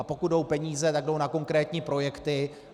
A pokud jsou peníze, tak jdou na konkrétní projekty.